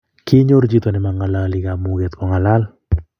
kinyoru chito ne mang'oloni kamuget kong'alan